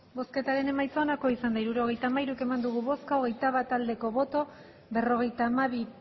hirurogeita hamairu eman dugu bozka hogeita bat bai berrogeita hamabi